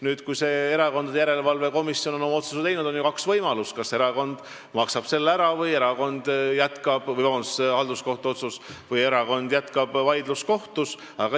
Nüüd, kui erakondade järelevalve komisjon on oma otsuse teinud, on meil kaks võimalust: kas erakond maksab selle raha ära või jätkab vaidlust halduskohtus.